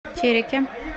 тереке